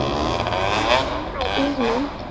Ertu með síma í bílnum?